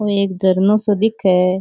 और एक झरनो सो दिखे है।